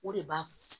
O de b'a f